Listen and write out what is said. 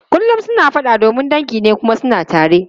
Kullum suna fada domin dangi ne kuma suna tare.